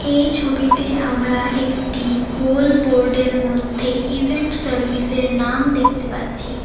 এই ছবিতে আমরা একটি গোল বোর্ড -এর মধ্যে ইভেন্ট সার্ভিস -এর নাম দেখতে পাচ্ছি।